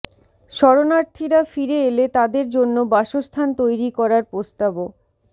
শরণার্থীরা ফিরে এলে তাদের জন্য বাসস্থান তৈরি করার প্রস্তাবও